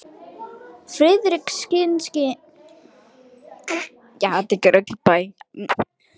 Friðrikssyni fiskifræðingi að líta á þetta hjá mér.